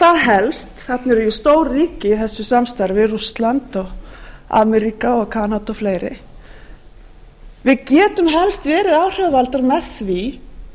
það helst þar sem eru stór ríki í þessu samstarfi rússland ameríka og kanada og fleiri við getum helst verið áhrifavaldar með því